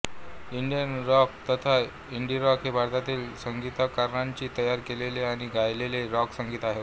Indian rock तथा indirock हे भारतातील संगीतकारांनी तयार केलेले आणि गायलेले रॉक संगीत होय